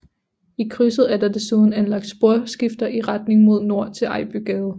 I krydset er der desuden anlagt sporskifter i retning mod nord til Ejbygade